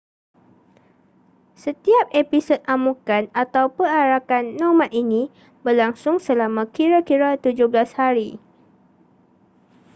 setiap episod amukan atau perarakan nomad ini berlangsung selama kira-kira 17 hari